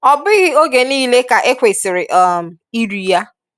ọ bughị oge niile ka e kwesịrị um iri ya.